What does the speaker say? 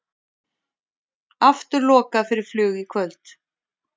Aftur lokað fyrir flug í kvöld